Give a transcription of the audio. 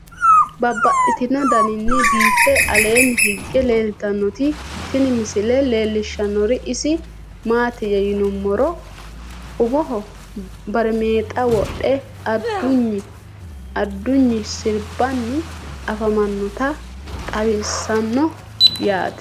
Babaxxittinno daninni biiffe aleenni hige leelittannotti tinni misile lelishshanori isi maattiya yinummoro umoho barimeexxa wodhe adunyi siribbanni afammannotta xawisanno yaatte.